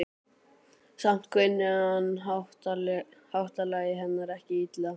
Samt kunni hann háttalagi hennar ekki illa.